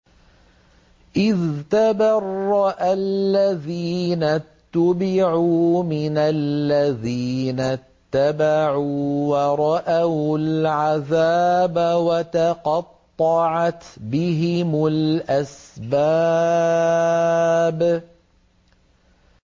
إِذْ تَبَرَّأَ الَّذِينَ اتُّبِعُوا مِنَ الَّذِينَ اتَّبَعُوا وَرَأَوُا الْعَذَابَ وَتَقَطَّعَتْ بِهِمُ الْأَسْبَابُ